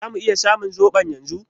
Zamu iya samun zoɓon yanzu?